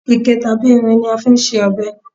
ike tabi irin ni a fi n se ọbẹ